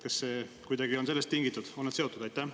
Kas see kuidagi on sellest tingitud, on need seotud?